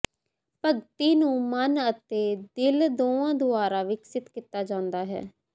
ਭਗਤੀ ਨੂੰ ਮਨ ਅਤੇ ਦਿਲ ਦੋਵਾਂ ਦੁਆਰਾ ਵਿਕਸਤ ਕੀਤਾ ਜਾਂਦਾ ਹੈ